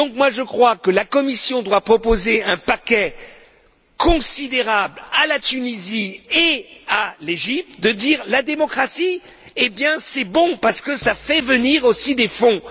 Je crois donc que la Commission doit proposer un paquet considérable à la Tunisie et à l'Égypte et dire que la démocratie, c'est bon, parce que ça fait venir aussi des fonds.